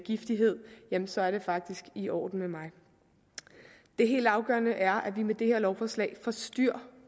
giftighed så er det faktisk i orden med mig det helt afgørende er at vi med det her lovforslag får styr